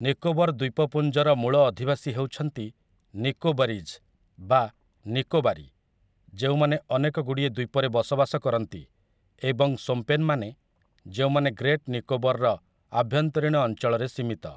ନିକୋବର ଦ୍ୱୀପପୁଞ୍ଜର ମୂଳ ଅଧିବାସୀ ହେଉଛନ୍ତି ନିକୋବାରୀଜ୍ ବା ନିକୋବାରୀ, ଯେଉଁମାନେ ଅନେକଗୁଡ଼ିଏ ଦ୍ୱୀପରେ ବସବାସ କରନ୍ତି, ଏବଂ ସୋମ୍ପେନ୍‌ମାନେ, ଯେଉଁମାନେ ଗ୍ରେଟ୍ ନିକୋବରର ଆଭ୍ୟନ୍ତରୀଣ ଅଞ୍ଚଳରେ ସୀମିତ ।